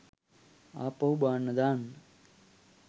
ආපහු බාන්න දාන්න.